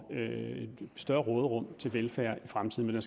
større råderum til velfærd i fremtiden med